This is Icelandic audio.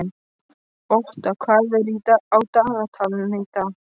Otta, hvað er á dagatalinu í dag?